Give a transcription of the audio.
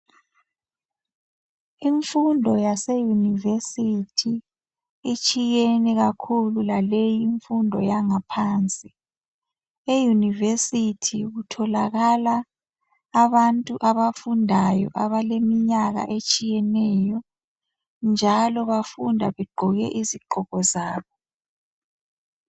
Imfundo yase university itshiyene kakhulu kulaleyi imfundo yangaphansi. Euniversity kutholakala abantu abafundayo abalelminyaka etshiyeneyo njalo bafunda begqoke izigqoko zabo.